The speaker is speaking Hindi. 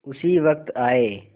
उसी वक्त आये